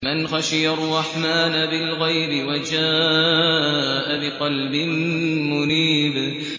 مَّنْ خَشِيَ الرَّحْمَٰنَ بِالْغَيْبِ وَجَاءَ بِقَلْبٍ مُّنِيبٍ